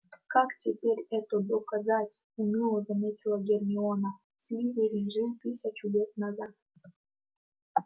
как теперь это доказать уныло заметила гермиона слизерин жил тысячу лет назад